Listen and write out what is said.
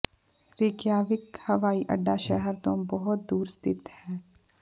Reykjavik ਹਵਾਈ ਅੱਡਾ ਸ਼ਹਿਰ ਤੋਂ ਬਹੁਤ ਦੂਰ ਸਥਿਤ ਹੈ